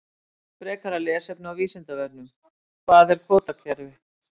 Frekara lesefni á Vísindavefnum: Hvað er kvótakerfi?